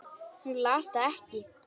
Hún las það ekki.